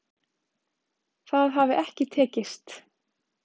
Það hafi ekki tekist